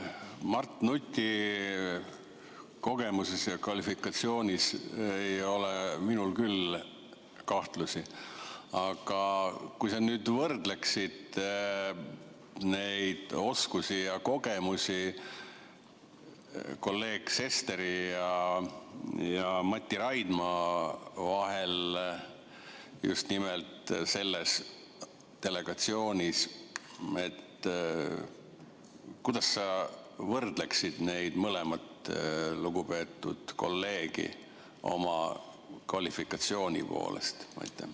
Mart Nuti kogemuses ja kvalifikatsioonis ei ole minul küll kahtlusi, aga kui sa nüüd võrdleksid neid oskusi ja kogemusi kolleegide Sven Sesteri ja Mati Raidma vahel just nimelt selles delegatsioonis, siis kuidas sa võrdleksid neid mõlemat lugupeetud kolleegi oma kvalifikatsiooni poolest?